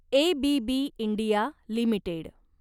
ABB India limited